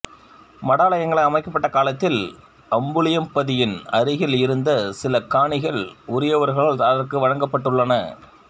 மடாலயங்கள் அமைக்கப்பட்ட காலத்தில் அம்புலியம்பதியின் அருகில் இருந்த சில காணிகள் உரியவர்களால் அதற்கு வழங்கப்பட்டுள்ளன